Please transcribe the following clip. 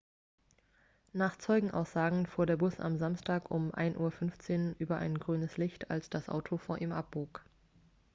nach zeugenaussagen fuhr der bus am samstag um 1:15 uhr über ein grünes licht als das auto vor ihm abbog